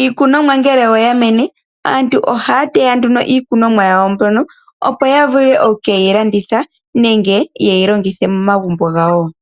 Iikunomwa ngele oyamene aantu ohaya teya Iikunomwa yawo mbyono opo ya vule okuyi landitha nenge ye yi longithe momagumbo gawo.